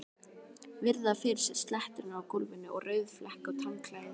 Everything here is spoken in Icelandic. Virða fyrir sér sletturnar á gólfinu og rauðflekkótt handklæðið.